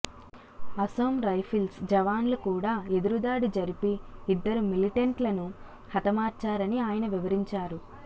Assam rifles జవాన్లు కూడా ఎదురుదాడి జరిపి ఇద్దరు మిలిటెంట్లను హతమార్చారని ఆయన వివరించారు